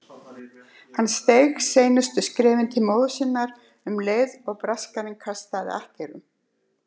Hann steig seinustu skrefin til móður sinnar um leið og Braskarinn kastaði akkerum.